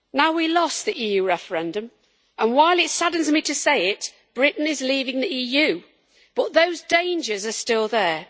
We lost the EU referendum, and while it saddens me to say it, Britain is leaving the EU but those dangers are still there.